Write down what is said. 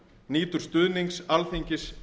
nýtur stuðnings alþingis